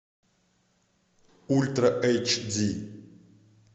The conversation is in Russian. ультра эйч ди